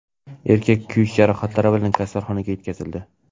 Erkak kuyish jarohatlari bilan kasalxonaga yetkazildi.